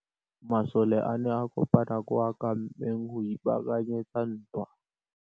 Masole a ne a kopane kwa kampeng go ipaakanyetsa ntwa.